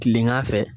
Kilegan fɛ